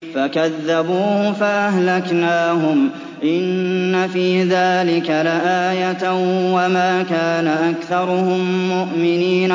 فَكَذَّبُوهُ فَأَهْلَكْنَاهُمْ ۗ إِنَّ فِي ذَٰلِكَ لَآيَةً ۖ وَمَا كَانَ أَكْثَرُهُم مُّؤْمِنِينَ